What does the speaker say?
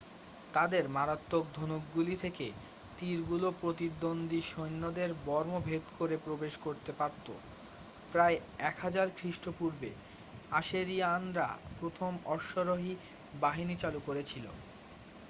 তাদের মারাত্মক ধনুকগুলি থেকে তীরগুলো প্রতিদ্বন্দ্বী সৈন্যদের বর্ম ভেদ করে প্রবেশ করতে পারতো প্রায় 1000 খ্রিস্টপূর্বে আশেরিয়ানরা প্রথম অশ্বারোহী বাহিনী চালু করেছিল